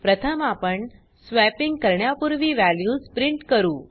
प्रथम आपण स्वॅपिंग अदलाबदल करण्यापूर्वी वॅल्यूज प्रिंट करू